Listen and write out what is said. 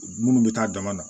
Minnu bɛ taa dama na